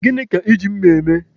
Gịnị ka Ị ji mma eme?